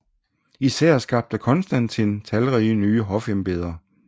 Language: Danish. Især skabte Konstantin talrige nye hofembeder